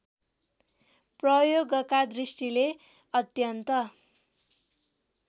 प्रयोगका दृष्टिले अत्यन्त